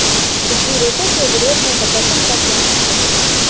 बिजली रेटों के विरोध में प्रदर्शन कर ज्ञापन सौंपा